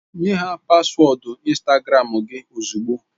Nye ha paswọọdụ Instagram gị ozugbo!